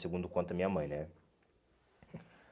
Segundo conta minha mãe, né?